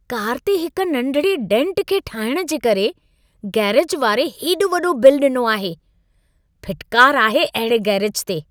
Car ते हिक नंढिड़े डेंट खे ठाहिण जे करे गैरेज वारे हेॾो वॾो बिल ॾिनो आहे। फिटकार आहे अहिड़े गैरेज ते!